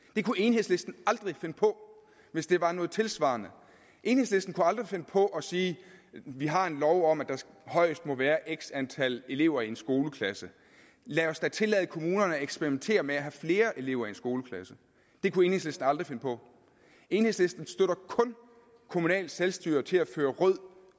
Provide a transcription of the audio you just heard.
det kunne enhedslisten aldrig finde på hvis det var noget tilsvarende enhedslisten kunne aldrig finde på at sige vi har en lov om at der højst må være x antal elever i en skoleklasse lad os da tillade kommunerne at eksperimentere med at have flere elever i en skoleklasse det kunne enhedslisten aldrig finde på enhedslisten støtter kun kommunalt selvstyre til at føre rød